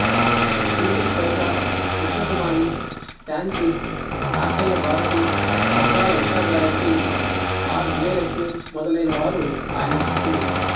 Sumati Kausha Krishnakumari Shanthi Akella Bharathi Maddali Ushagayathri R Vijayalakshmi మొదలైన వారు ఆయన శిష్యులు